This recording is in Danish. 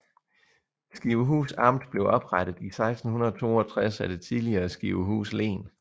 Skivehus Amt blev oprettet i 1662 af det tidligere Skivehus Len